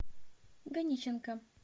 ганиченко